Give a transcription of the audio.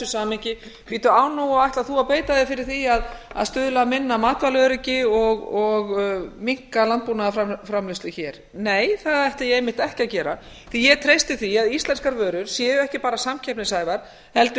samhengi bíddu ætlar þú að beita þér fyrir því að stuðla að minna matvælaöryggi og minnka landbúnaðarframleiðslu hér nei það ætla ég einmitt ekki að gera því að ég treysti því að íslenskar vörur séu ekki bara samkeppnishæfar heldur